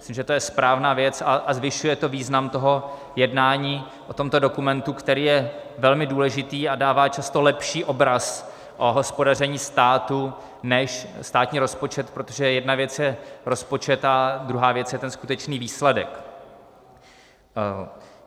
Myslím, že to je správná věc a zvyšuje to význam toho jednání o tomto dokumentu, který je velmi důležitý a dává často lepší obraz o hospodaření státu než státní rozpočet, protože jedna věc je rozpočet a druhá věc je ten skutečný výsledek.